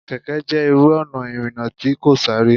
Kẹ̀kẹ́ jẹ́ irú ọ̀nà ìrìnà tí kò sáré.